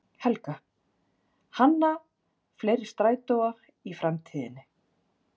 Helga: Hanna fleiri strætóa í framtíðinni?